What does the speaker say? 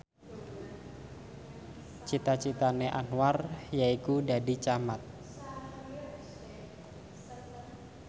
cita citane Anwar yaiku dadi camat